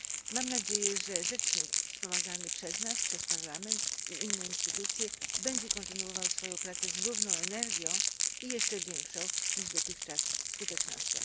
Mam nadzieję, że rzecznik wspomagany przez nas, przez Parlament i inne instytucje, będzie kontynuował swoją pracę z równą energią i jeszcze większą niż dotychczas skutecznością.